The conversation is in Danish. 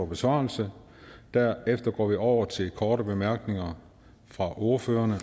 besvarelse og derefter går vi over til korte bemærkninger fra ordførerne